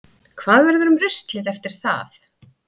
Hvað verður um ruslið eftir það?